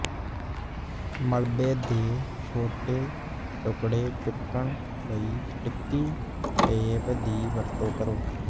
ਮਲਬੇ ਦੇ ਛੋਟੇ ਟੁਕੜੇ ਚੁੱਕਣ ਲਈ ਸਟਿੱਕੀ ਟੇਪ ਦੀ ਵਰਤੋਂ ਕਰੋ